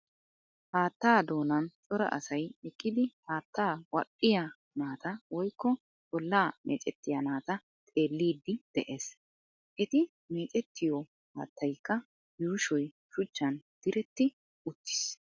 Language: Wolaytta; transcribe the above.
Haattaa doonan cora asay eqqidi haatta wadhdhiya naata woykko bollaa meecettiya naataa xeelliiddi de'ees. Eti meecettiyo haattaykka yuushoy shuchchan diretti uttiis.